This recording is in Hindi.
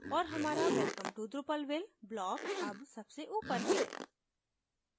और हमारा welcome to drupalville block अब सबसे ऊपर है